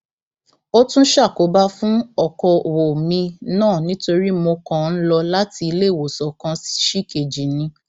ó tún ṣàkóbá fún ọkọọwọ mi náà nítorí mo kàn ń lọ láti iléewòsàn kan ṣìkejì ni